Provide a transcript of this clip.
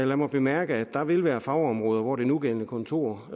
lad mig bemærke at der vil være fagområder hvor det nuværende kontor